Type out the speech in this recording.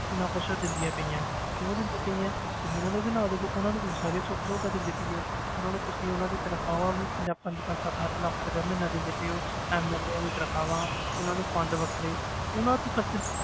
ਇੰਨਾ ਕੁਛ ਉਹ ਦਿੰਦੀਆਂ ਪਈਆਂ, ਕਿਉਂ ਦਿੰਦੀਆਂ ਪਈਆਂ ਤੁਸੀਂ ਉਹਨਾਂ ਨੂੰ ਵੀ ਨਾ ਦੇਵੋ ਉਹਨਾਂ ਨੂੰ ਤੁਸੀਂ ਸਾਰੀਆਂ ਸੁੱਖ ਸਹੂਲਤਾਂ ਦਿੰਦੇ ਪਏ ਹੋ ਉਹਨਾਂ ਨੂੰ ਤੁਸੀਂ ਉਹਨਾਂ ਦੀ ਤਨਖ਼ਾਹਾਂ ਵੀ ਪੰਜਾਹ ਪੰਜ ਪੰਜ ਸੱਤ ਸੱਤ ਲੱਖ ਰੁਪਇਆ ਮਹੀਨਾ ਦਿੰਦੇ ਪਏ ਹੋ MLA ਦੀਆਂ ਤਨਖਾਹਾਂ ਉਹਨਾਂ ਨੂੰ fund ਵੱਖਰੇ ਉਹਨਾਂ ਤੇ ਖ਼ਰਚ